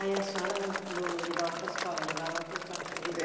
Aí a senhora não não levava para a escola, levava para o campo, é isso?